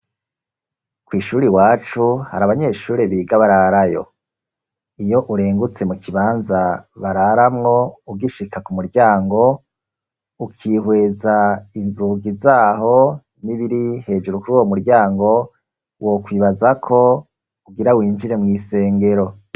Kw'ishure iwacu, hari abanyeshure biga bararayo; iyo urengutse mu kibanza bararamwo, ugishika ku muryango, ukihweza inzugi zaho, n'ibiri hejuru kuri uwo muryango, wokwibaza ko ugira winjire mw'isengero.